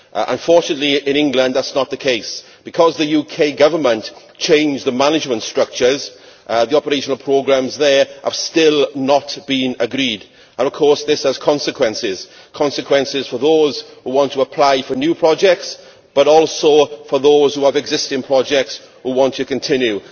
Unfortunately in England that is not the case. Because the UK Government changed the management structures, the operational programmes there have still not been agreed and of course this has consequences consequences for those who want to apply for new projects, but also for those who have existing projects they want to continue.